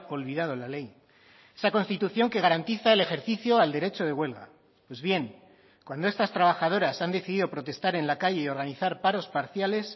olvidado la ley esa constitución que garantiza el ejercicio al derecho de huelga pues bien cuando estas trabajadoras han decidido protestar en la calle y organizar paros parciales